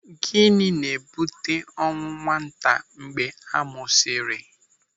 Gịnị na-ebute ọnwụ nwata mgbe a mụsịrị?